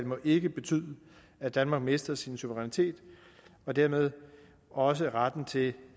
må ikke betyde at danmark mister sin suverænitet og dermed også retten til